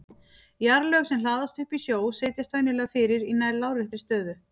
Jarðlög sem hlaðast upp í sjó setjast venjulega fyrir í nær láréttri stöðu.